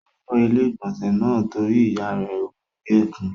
Ó fọ ilé-ìgbọ̀nsẹ̀ náà torí ìyá rẹ̀ wí bẹ́ẹ̀ fún.